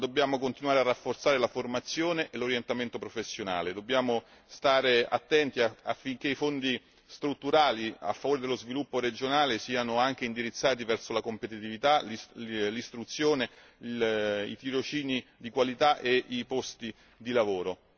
Dobbiamo però continuare a rafforzare la formazione e l'orientamento professionale, facendo attenzione a che i fondi strutturali a favore dello sviluppo regionale siano anche indirizzati verso la competitività, l'istruzione, i tirocini di qualità e i posti di lavoro.